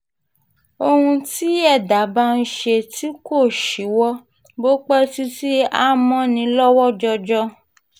ohun tí ẹ̀dá bá ń ṣe tí kò ṣíwọ́ bó pẹ́ títí a mọ́ ni lọ́wọ́ jọjọ